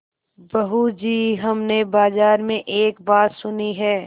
बहू जी हमने बाजार में एक बात सुनी है